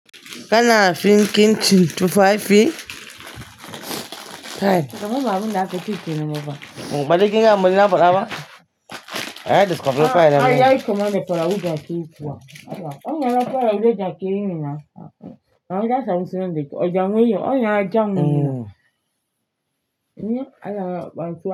Kana fin kin cin tufafi? Kai. Shika muga wanda aka ci ke nuna ba. Mbaligi na muli naɓɗaɓa? Aya discover fire na mai. Ai yayi kama manda fara wuja ke yi kuwa. Anya na fara wuja ke yi nuna. Anya sa muso nan deke. Oja nwe yi. Anya aja nwe yi. Anya aya ba.